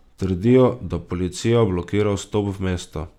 Trdijo, da policija blokira vstop v mesto.